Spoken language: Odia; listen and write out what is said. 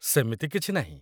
ସେମିତି କିଛି ନାହିଁ